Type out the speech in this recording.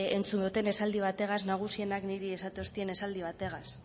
entzun dut esaldi bategaz nagusienak niri esaten doustean esaldi bategaz